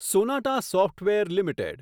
Sonata software limited